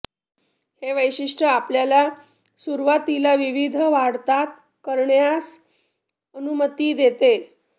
हे वैशिष्ट्य आपल्याला सुरुवातीला विविध वाढतात करण्यास अनुमती देते